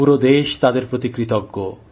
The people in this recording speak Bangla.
পুরো দেশ তাদের প্রতি কৃতজ্ঞ